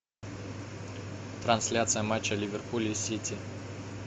трансляция матча ливерпуль и сити